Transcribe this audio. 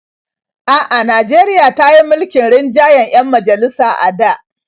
A'a, Najeriya ta yi mulkin rinjayen 'yan majalisa a da.